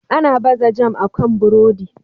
Ana baza jam akan burodi.